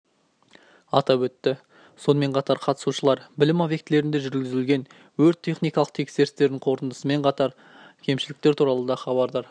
атап өтті сонымен қатар қатысушылар білім объектілерінде жүргізілген өрт-техникалық тексерістердің қорытындысымен анықталған кемшіліктер туралыда хабардар